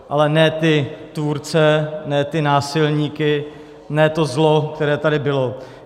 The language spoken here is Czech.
Ale ne ty tvůrce, ne ty násilníky, ne to zlo, které tady bylo.